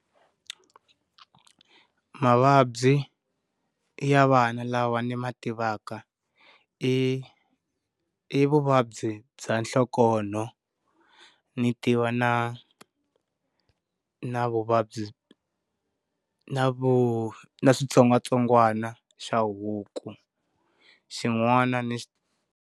Mavabyi ya vana lawa ni ma tivaka i i vuvabyi bya nhlokonho, ni tiva na na vuvabyi na vu na switsongwatsongwana xa huku xin'wana ni.